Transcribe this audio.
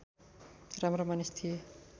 राम्रा मानिस थिए